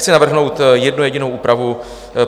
Chci navrhnout jednu jedinou úpravu.